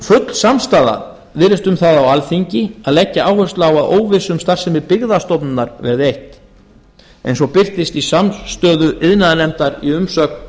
full samstaða virðist um það á alþingi að leggja áherslu á að óvissu um starfsemi byggðastofnunar verði eytt eins og birtist í samstöðu iðnaðarnefndar í umsögn